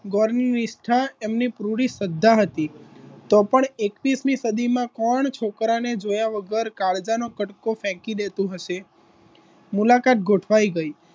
પુરી શ્રદ્ધા હતી તો પણ એકવીસમી સદીમાં કોણ છોકરા ને જોયા વગર કાળજાનો કટકો ફેંકી દેતો હશે મુલાકાત ગોઠવાઈ ગઈ